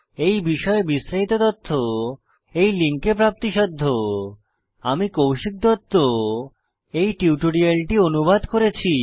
এই বিষয়ে বিস্তারিত তথ্য এই লিঙ্কে প্রাপ্তিসাধ্য spoken hyphen tutorial dot org slash NMEICT hyphen intro আমি কৌশিক দত্ত এই টিউটোরিয়ালটি অনুবাদ করেছি